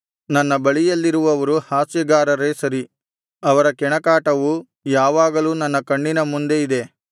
ನನ್ನ ಬಳಿಯಲ್ಲಿರುವವರು ಹಾಸ್ಯಗಾರರೇ ಸರಿ ಅವರ ಕೆಣಕಾಟವು ಯಾವಾಗಲೂ ನನ್ನ ಕಣ್ಣಿನ ಮುಂದೆ ಇದೆ